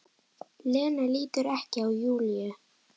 Lena lítur ekki á Júlíu.